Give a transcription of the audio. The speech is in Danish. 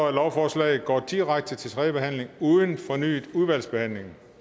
at lovforslaget går direkte til tredje behandling uden fornyet udvalgsbehandling